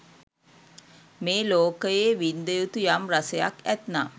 මේ ලෝකයේ වින්ද යුතු යම් රසයක් ඇත්නම්